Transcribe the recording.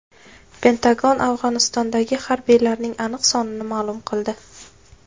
Pentagon Afg‘onistondagi harbiylarining aniq sonini ma’lum qildi .